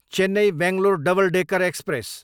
Chennai, Bangalore double decker express